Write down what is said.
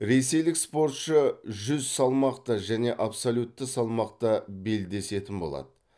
ресейлік спортшы жүз салмақта және абсолютті салмақта белдесетін болады